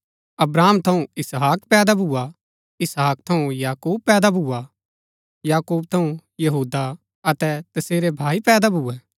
अब्राहम थऊँ इसहाक पैदा भुआ इसहाक थऊँ याकूब पैदा भुआ याकूब थऊँ यहूदा अतै तसेरै भाई पैदा भुऐ